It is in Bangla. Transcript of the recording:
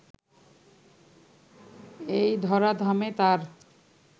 এই ধরাধামে তার